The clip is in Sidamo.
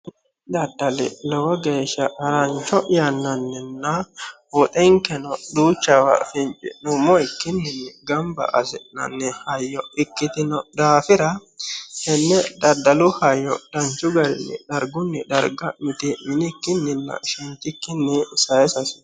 Daddali lowo geeshsha harranicho yanannina woxxenikenno duuchawa finicinumokkini gamibba asinanni hayyo ikkitino daafira tene daddalu hayyo danichu garrinnibdarigunni darigga mitiminikkinina shenitikkinni saayisatte hasisanno